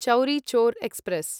Chauri Chaura express